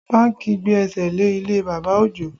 Bánkì gbé ẹsẹ̀ lé ilé bàbá Ojo